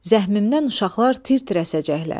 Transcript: Zəhmimdən uşaqlar tir-tir əsəcəklər.